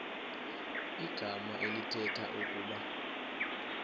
igama elithetha ukuba